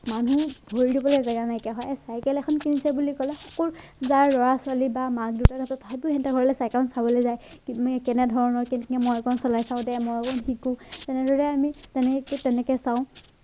মানুহ ভৰি ধুবলে জেগা নাইকিয়া হয় চাইকেল এখন কিনিছে বুলি কলে সকলো যাৰ লৰা ছোৱালী বা মাক দেউতাক আছে সিহঁতৰ ঘৰলে চাইকেলখন চাবলে যায় কেনেধৰণৰ মই অকন চলাই ছাৱ দে ময়ো শিকো তেনেদৰে আমি তেনেকে চাও।